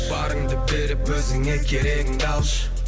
барыңды беріп өзіңе керегіңді алшы